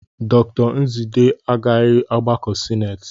Dr Nzidee agaraghị ọgbakọ sinetị.